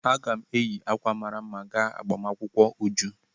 Aga m eyi ákwà mara mma gaa agbamakwụkwọ Uju.